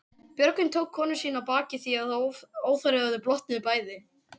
Björgvin tók konu sína á bakið því að óþarfi var að þau blotnuðu bæði.